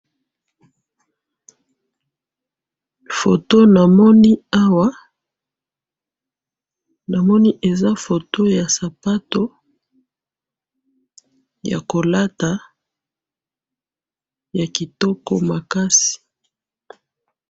photo namoni awa namoni eza photo ya sapato yakolata yakitoko makasi